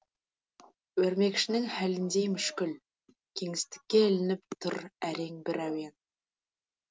өрмекшінің халіндей мүшкіл кеңістікке ілініп тұр әрең бір әуен